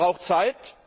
Er braucht Zeit.